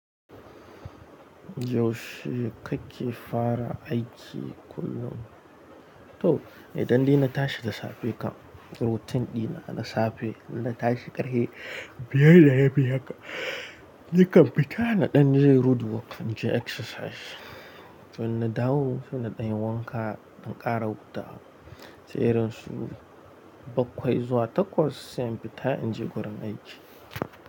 Yaushe kake fara aiki kullum? To, idan dai na tashi da safe kan routine dina na safe idan na tashi ƙarfe biyar da rabi haka, ni kan fita na ɗan je roadwork in je exercise. To in na dawo, sai na ɗan yi wanka, in ƙara hutawa. Sai irin su bakwai zuwa takwas sai in fita in je wurin aiki.